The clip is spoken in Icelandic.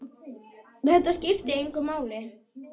Þetta skipti engu máli.